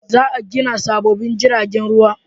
Za a gina sabobbin jiragen ruwa